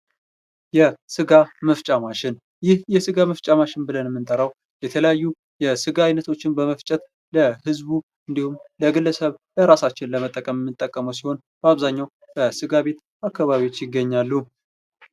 የሥጋ መፍጫ ማሽን ብለን የምንጠራው የተለያዩ የስጋ ዓይነቶችን በመፍጨት ለህዝቡ እንዲሁም፤ የግለሰብ በራሳችን ለመጠቀም ተጠቃሚው ሲሆን ፤በአብዛኛው በአዝጋሚ አካባቢዎች ይገኛሉ።